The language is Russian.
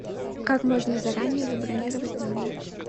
как можно заранее забронировать номер